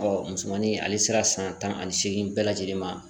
musomanin ale sera san tan ani seegin bɛɛ lajɛlen ma